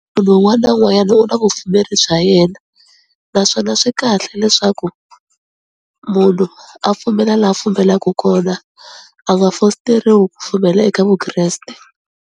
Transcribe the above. Munhu wun'wani na wun'wanyani u na vupfumeri bya yena, naswona swi kahle leswaku munhu a pfumela laha a pfumelaku kona a nga fositeriwi ku pfumela eka Vukreste.